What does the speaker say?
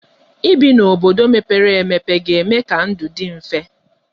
Ibi n'obodo mepere emepe ga-eme ka ndụ dị mfe.